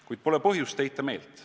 Kuid pole põhjust heita meelt.